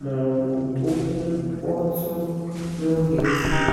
ma ọ bụ okwu mkpọtụ n'oge nzukọ.